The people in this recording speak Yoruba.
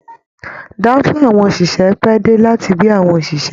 Danfo àwọn oṣiṣẹ pẹ̀ dé láti gbé àwọn oṣiṣẹ.